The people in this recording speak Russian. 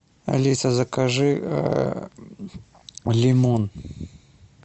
алиса закажи лимон